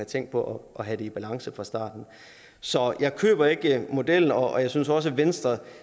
tænkt på at have det i balance fra starten så jeg køber ikke modellen og jeg synes også at venstre